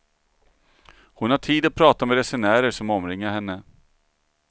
Hon har tid att prata med resenärer som omringar henne.